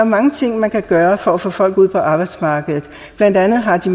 mange ting man kan gøre for at få folk ud på arbejdsmarkedet blandt andet har de